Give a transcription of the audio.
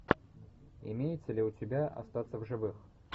имеется ли у тебя остаться в живых